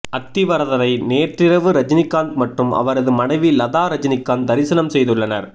அத்தி வரதரை நேற்றிரவு ரஜினிகாந்த் மற்றும் அவரது மனைவி லதா ரஜினிகாந்த் தரிசனம் செய்துள்ளனர்